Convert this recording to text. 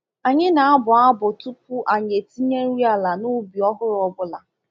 Anyị na-abụ abụ tupu anyị etinye nri ala n’ubi ọhụrụ ọ bụla.